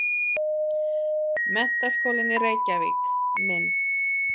Menntaskólinn í Reykjavík- mynd.